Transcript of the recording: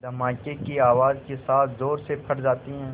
धमाके की आवाज़ के साथ ज़ोर से फट जाती है